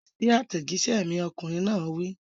Fèsì sí àtẹ̀jíṣẹ́ mi! Ọkùnrin náà wí.